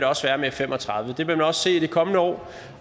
også være med f fem og tredive det vil man også se i det kommende år